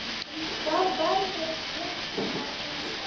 Hvað verður mitt næsta lið?